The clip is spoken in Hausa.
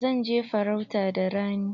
Zan je farauta da rani.